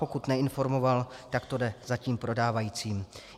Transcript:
Pokud neinformoval, tak to jde za tím prodávajícím.